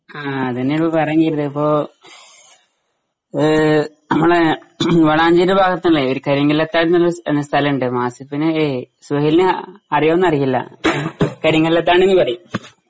ആ അത്ന്നാണിപ്പോ പറഞ്ഞീതിപ്പോ ഏഹ് നമ്മളെ വളാഞ്ചേരി ഭാഗത്തിള്ളേ ഒര് കരിങ്ങില്ലത്താരെന്നൊള്ളോരു സ് ഏഹ് സ്ഥലേണ്ട് ആസിഫിന്‌ ഏയ് സുഹൈലിന് അ അറിയോന്നറിയില്ല ഏ കരിങ്ങില്ലത്താണിന്ന് പറയും.